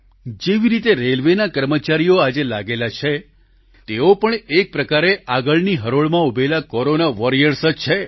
જેવી રીતે રેલવેના કર્મચારીઓ આજે લાગેલા છે તેઓ પણ એક પ્રકારે આગળની હરોળમાં ઉભેલા કોરોના વોરિયર્સ જ છે